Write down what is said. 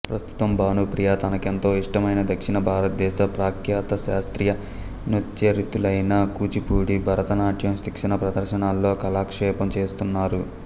ప్రస్తుతం భానుప్రియ తనకెంతో ఇష్టమైన దక్షిణ భారతదేశ ప్రఖ్యాత శాస్త్రీయ నృత్యరీతులైన కూచిపూడి భరతనాట్యం శిక్షణ ప్రదర్శనలతో కాలక్షేపం చేస్తున్నారు